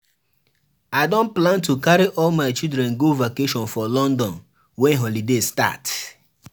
I don plan to carry all my children go vacation for London wen holiday start.